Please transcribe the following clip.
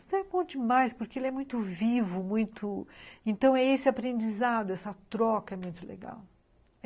Então é bom demais, porque ele é muito vivo, muito... Então é esse aprendizado, essa troca é muito legal.